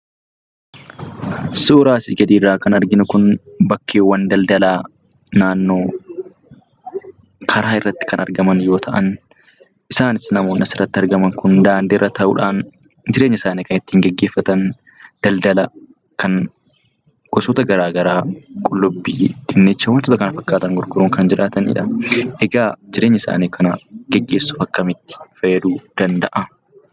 Suura asii gadiirraa kan arginu kun, bakkeewwan daldalaa naannoo karaa irratti kan argaman yoo ta'an isaanis namoonni asirratti argaman kun daandii irra ta'uudhaan jireenya isaanii kan ittiin geggeeffatan daldala kan gosoota garaa garaa kan Qullubbii, Dinnichaa fi kan kana fakkaatan gurguruun kan jiraatanidha. Egaa jireenya isaanii kana geggeessuuf akkamitti fayyaduu danda'aa?